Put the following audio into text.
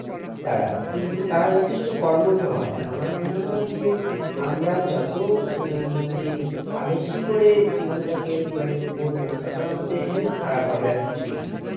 তারা কিন্তু তারা যথেষ্ট কর্মঠ হয় আমার মনে হয় যে আমরা যত অ্যাঁ মানে আলসি করে জীবনটাকে অতিবাহিত করব তত আমাদের health খারাপ হবে আর কিছুই না,